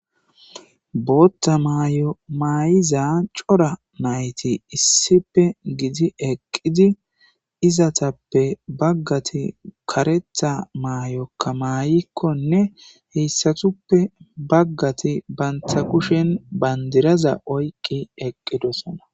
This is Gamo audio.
bootta mayo maayiza cora nayti issipe gidi eqqidi izatappe baggati karetha maayokka maayikkonne heyssatuppe baggati banta kushen bandiraza oyqqi eqqidosona